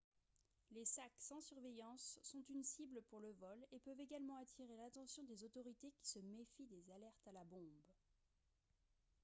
les sacs sans surveillance sont une cible pour le vol et peuvent également attirer l'attention des autorités qui se méfient des alertes à la bombe